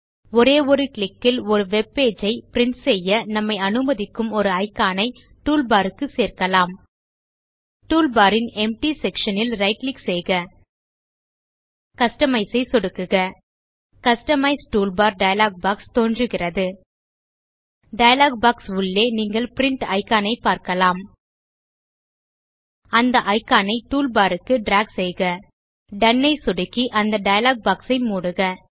ஒரே ஒரு கிளிக் ல் ஒரு வெப் பேஜ் ஐ பிரின்ட் செய்ய நம்மை அனுமதிக்கும் ஒரு இக்கான் ஐ டூல்பார் க்குச் சேர்க்கலாம் டூல்பார் ன் எம்ப்டி செக்ஷன் ல் ரைட் கிளிக் செய்க கஸ்டமைஸ் ஐ சொடுக்குக கஸ்டமைஸ் டூல்பார் டயலாக் பாக்ஸ் தோன்றுகிறது டயலாக் பாக்ஸ் உள்ளே நீங்கள் பிரின்ட் இக்கான் ஐப் பார்க்கலாம் அந்த இக்கான் ஐ டூல்பார் க்கு டிராக் செய்க டோன் ஐ சொடுக்கி அந்த டயலாக் பாக்ஸ் ஐ மூடுக